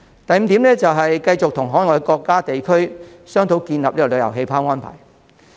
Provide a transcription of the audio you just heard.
第五，是繼續與海外國家和地區商討建立旅遊氣泡的安排。